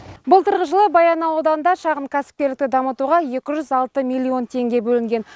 былтырғы жылы баянауыл ауданында шағын кәсіпкерлікті дамытуға екі жүз алты миллион теңге бөлінген